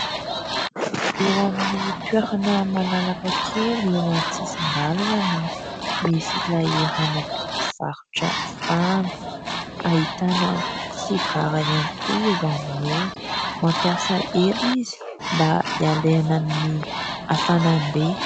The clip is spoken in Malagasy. Eo amin'ny toerana malalaka kely eo an-tsisin-dalana no misy ilay ramatoa mpivarotra fahana. Ahitana sigara ihany koa eo aminy eo. Mampiasa elo izy mba ialana amin'ny hafanambe.